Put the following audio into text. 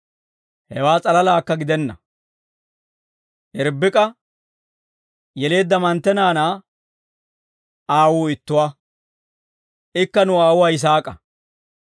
Hewaa s'alalaakka gidenna; Irbbik'a yeleedda mantte naanaa aawuu ittuwaa; ikka nu aawuwaa Yisaak'a.